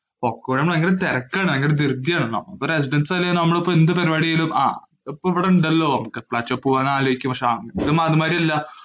എപ്പോഴും ഭയങ്കര തിരക്കാണ്. ഭയങ്കര ധൃതിയാണ്. അപ്പോ residence area യില്‍ ആവുമ്പോ നമ്മള്‍ ഇപ്പം എന്ത് പരിപാടിയാണെങ്കിലു ആഹ് ഇപ്പൊ ഇവിടുണ്ടല്ലോ ആലോചിക്കും. പക്ഷേ കാണുന്ന മാതിരിയില്ല.